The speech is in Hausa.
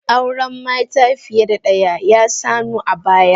Auren mata fiye da daya ya sanu a baya